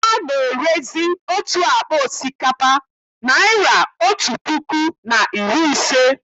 Ana-erezi otu akpa osikapa naịra otú puku na iri ise.